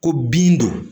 Ko bin don